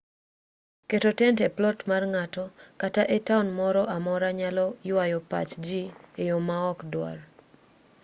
keto tent e plot mar ng'ato kata e taon moro amora nyalo ywayo pach jii eyo maok dwar